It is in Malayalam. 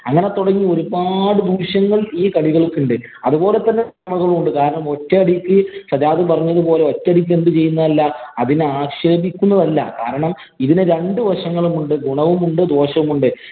അങ്ങനെ തുടങ്ങി ഒരുപാട് ദൂഷ്യങ്ങള്‍ ഈ കളികള്‍ക്കുണ്ട്. അതുപോലെ തന്നെ ഗുണങ്ങളും ഉണ്ട്. കാരണം, ഒറ്റയടിക്ക് സജാദ് പറഞ്ഞത് പോലെ ഒറ്റയടിക്ക് അതിനെ ആക്ഷേപിക്കുന്നതല്ല. കാരണം, ഇതിനു രണ്ടു വശങ്ങളുണ്ട്. ഗുണവും ഉണ്ട്. ദോഷവും ഉണ്ട്.